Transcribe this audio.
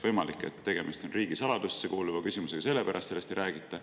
Võimalik, et tegemist on riigisaladusse kuuluva küsimusega ja selle pärast sellest ei räägita.